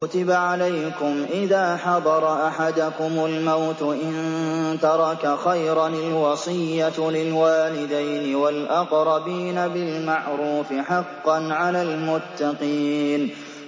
كُتِبَ عَلَيْكُمْ إِذَا حَضَرَ أَحَدَكُمُ الْمَوْتُ إِن تَرَكَ خَيْرًا الْوَصِيَّةُ لِلْوَالِدَيْنِ وَالْأَقْرَبِينَ بِالْمَعْرُوفِ ۖ حَقًّا عَلَى الْمُتَّقِينَ